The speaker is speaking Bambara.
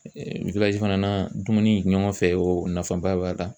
fana na dumuni ɲɔgɔn fɛ o nafaba b'a la.